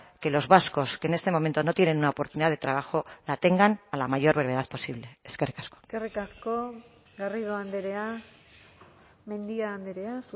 que los vascos que en este momento no tienen una oportunidad de trabajo la tengan a la mayor brevedad posible eskerrik asko eskerrik asko garrido andrea mendia andrea